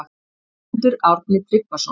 Guðmundur Árni Tryggvason